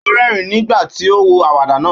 Ó rẹ́rìn-ín nígbà tí ó wo àwàdà náà.